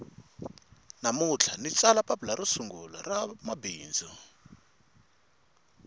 namuntlha ndzi tsala papila ro sungula ra mabindzu